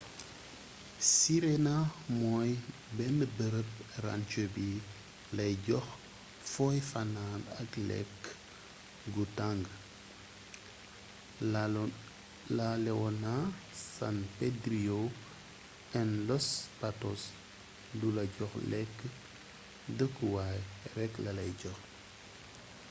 sirena mooy benn bërëb ranger bi lay jox foy fanan ak lékk gu tàng laleona san pedrillo and los patos du la jox lekk dëkku waay rekk lalay jox